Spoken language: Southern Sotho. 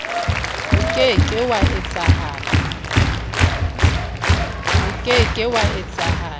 o ke ke wa etsahala